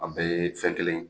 A bɛɛ ye fɛn kelen ye.